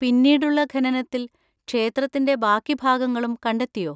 പിന്നീടുള്ള ഖനനത്തിൽ ക്ഷേത്രത്തിന്‍റെ ബാക്കി ഭാഗങ്ങളും കണ്ടെത്തിയോ?